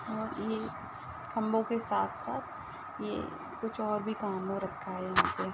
ओए ये खंभों के साथ साथ कुछ और भी काम हो रखा है यहाँ पे ।